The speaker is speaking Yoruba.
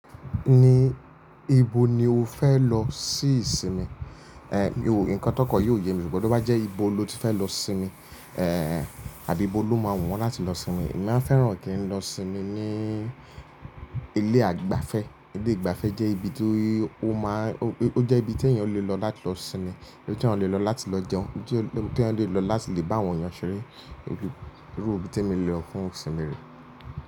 Ní, ibo ni o fẹ́ lọ sí ìsinmi? Eh, nǹkan tó kọ̀ yóò ye mi gbọ́, tí ó bá jẹ́ ibo lo ti fẹ lọ sinmi, eh, àbí bó ló máa wù ọ́ láti lọ sinmi. Èmi máa fẹ́ràn kí n lọ sinmi ní ilé àgbàfẹ́. Ilé ìgbàfẹ́ jẹ́ ibi tó, ó máa, ó jẹ́ ibi tí èèyàn lè lọ láti lọ sinmi, ibi ti èèyàn lè lọ láti lọ jẹun, ibi tí èèyàn lè lọ láti lè bá àwọn ènìyàn ṣeré. Iru ibí tí èmi lè lọ fún ìsinmi re.